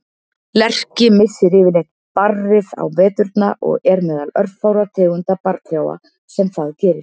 Lerki missir yfirleitt barrið á veturna og er meðal örfárra tegunda barrtrjáa sem það gerir.